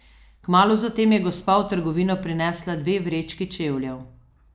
Kmalu zatem je gospa v trgovino prinesla dve vrečki čevljev.